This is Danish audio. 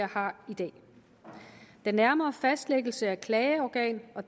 har i dag den nærmere fastlæggelse af klageorgan og